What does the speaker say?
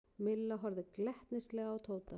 Milla horfði glettnislega á Tóta.